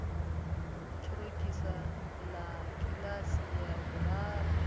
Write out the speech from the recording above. ṱorokisi ḽa kiḽasi ya vhuraru